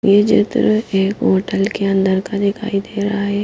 ये चित्र एक होटल के अंदर का दिखाई दे रहा है।